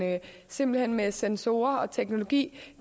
simpelt hen med sensorer og teknologi